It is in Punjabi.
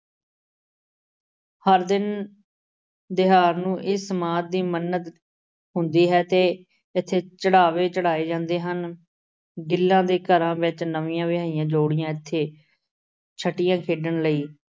ਹਰ ਦਿਨ ਦਿਹਾਰ ਨੂੰ ਇਸ ਸਮਾਧ ਦੀ ਮੰਨਤ ਹੁੰਦੀ ਹੈ ਤੇ ਇੱਥੇ ਚੜ੍ਹਾਵੇ ਚੜਾਏ ਜਾਂਦੇ ਹਨ। ਗਿੱਲਾਂ ਦੇ ਘਰਾਂ ਵਿੱਚ ਨਵੀਆਂ ਵਿਆਹੀਆਂ ਜੋੜੀਆਂ ਇੱਥੇ ਛਟੀਆਂ ਖੇਡਣ ਲਈ